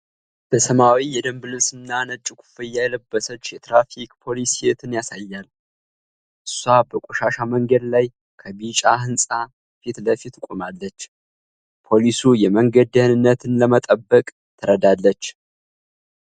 በሰማያዊ የደንብ ልብስና ነጭ ኮፍያ የለበሰች የትራፊክ ፖሊስ ሴትን ያሳያል። እሷ በቆሻሻ መንገድ ላይ ከቢጫ ሕንፃ ፊት ለፊት ቆማለች። ፖሊሱ የመንገድ ደኅንነትን ለመጠበቅ ትረዳለች?